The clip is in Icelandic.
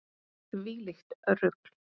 Þvílíkt rugl.